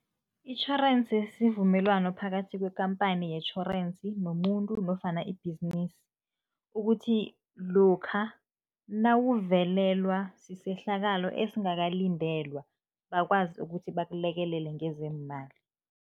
Itjhorensi sivumelwano phakathi kwekhamphani yetjhorensi nomuntu nofana ibhizinisi, ukuthi lokha nawuvelelwa sisehlakalo esingakalindelwa, bakwazi ukuthi bakulekelele ngezeemali.